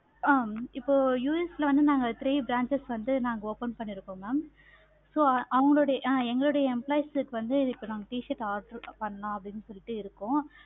ஆஹ் இப்போ US ல வந்து நாங்க three branches வந்து நாங்க open பண்ணிருக்கோம். mam so இப்ப அவுங்க எங்களுடைய employees க்கு வந்து இப்ப நாங்க t-shirt order பண்ணலாம் அப்படின்னு சொல்லிட்டு இருக்கோம்.